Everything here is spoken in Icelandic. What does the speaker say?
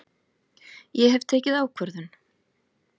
Ég hef tekið ákvörðun!